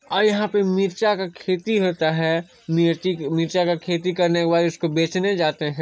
और यहाँ पे मिरचा का खेती होता हैं मिरचा के खेती होने के बाड़ उसे बेचने जाते हैं।